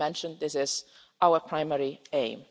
As I mentioned, this is our primary aim.